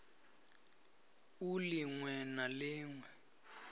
u lin we na lin